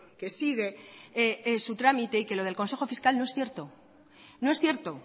que sigue su trámite y que lo del consejo fiscal no es cierto no es cierto